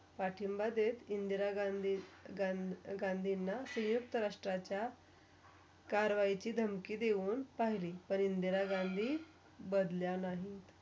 पाठिंबा इंदिरा गांधीं ~गांधी ~गांधींना सयुक्त राष्ट्राचा करवायची धमकी देऊन पहिली पण इंदिरा गांधी बदल्या नाही.